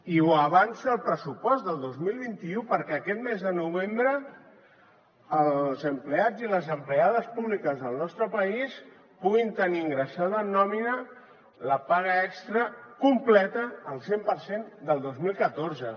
i ho avança al pressupost del dos mil vint u perquè aquest mes de novembre els empleats i les empleades públics del nostre país puguin tenir ingressada en nòmina la paga extra completa al cent per cent del dos mil catorze